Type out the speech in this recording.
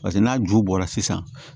Paseke n'a ju bɔra sisan